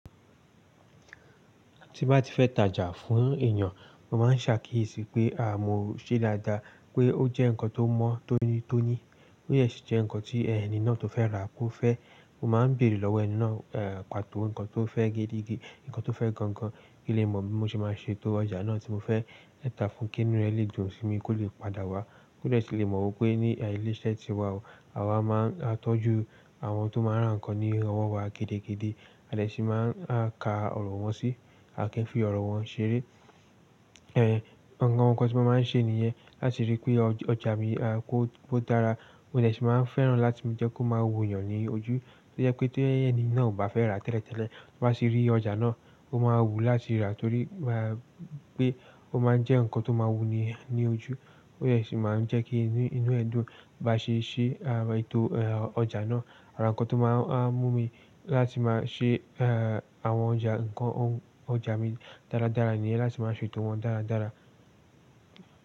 Tí n bá ti fẹ́ tajà fún èeyàn, mo máa ń ṣàkíyèsí pé mo ṣé dáadáa, pé ó jẹ́ nǹkan tó mọ́ tónítóní. Ó dẹ sì jẹ́ nǹkan tí ẹni náà tó fẹ́ rà kó fẹ́. Mo máa ń beèrè lọ́wọ́ ẹni náà pàtó nǹkan tó fẹ́ gidi, nǹkan tó fẹ́ gan gan. Kí n lè mọ̀ bí mo ṣe máa ṣetó ọjà náà tí mo fẹ́ tà fún, kí inú rẹ̀ lè dun sí mi kó lè padà wá. Ko de sì lè mọ̀ wipé ní ilé iṣẹ́ tiwa o, àwa máa ń tọ́jú àwọn tó máa n rá nǹkan ní owọ́ wa gidigidi, a dè sì máa n ka ọ̀rọ̀ wọn sí, a kì ń fi ọ̀rọ̀ wọn ṣeré. Awon nǹkan tí mo máa ń ṣe nìyẹn láti rí i pé ọjà mi a kó dára. Mo dè sì máa n fẹ́ràn láti jẹ́ kó máa wo èeyàn ní ojú. To jẹ pé ti ẹni náà o bá fẹ́ rà tẹ́lẹ̀tẹ́lẹ̀, ti ó bá ti rí ọjà náà, ó máa wù ú láti rà torí pé ó máa ń jẹ́ nǹkan tó máa wú eni yen ní ojú. Ó dẹ sì máa ń jẹ́ kí inú ẹ̀ dùn bá ṣe ṣe ètò ọjà náà. Àwọn nǹkan tó máa mú mi láti máa ṣe àwọn ọjà nǹkan ọjà mi dáradára nìyẹn, láti máa ṣètò wọn dáradára.